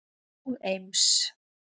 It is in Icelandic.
og Eims